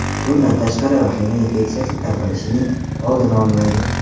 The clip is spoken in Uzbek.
Bundan tashqari, vahima infeksiya tarqalishining oldini olmaydi.